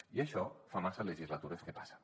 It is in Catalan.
i això fa massa legislatures que passa